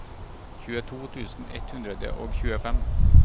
tjueto tusen ett hundre og tjuefem